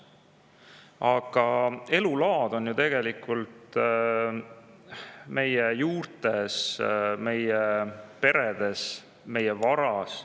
Aga elulaad on ju tegelikult kinni meie juurtes, meie peredes, meie varas.